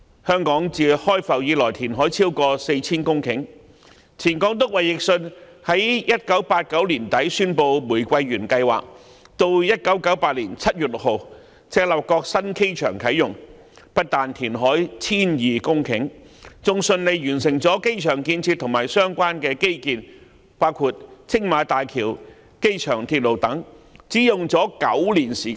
香港自開埠以來，填海超過 4,000 公頃，前港督衞奕信在1989年年底宣布玫瑰園計劃，及至1998年7月6日赤鱲角新機場啟用，不但填海 1,200 公頃，更順利完成了機場建設和相關基建，包括青馬大橋和機場鐵路等，過程只花了9年時間。